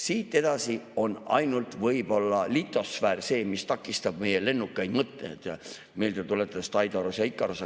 Siit edasi on ainult võib-olla litosfäär see, mis takistab meie lennukaid mõtteid, meelde tuletades Daidalost ja Ikarost.